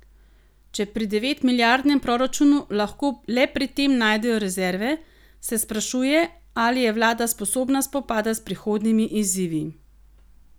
Če pri devetmilijardnem proračunu lahko le pri tem najdejo rezerve, se sprašuje, ali je vlada sposobna spopada s prihodnjimi izzivi.